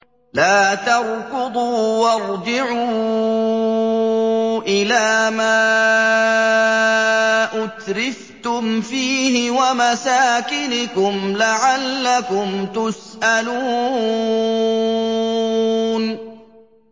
لَا تَرْكُضُوا وَارْجِعُوا إِلَىٰ مَا أُتْرِفْتُمْ فِيهِ وَمَسَاكِنِكُمْ لَعَلَّكُمْ تُسْأَلُونَ